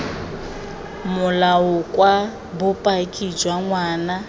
molao kwa bopaki jwa ngwana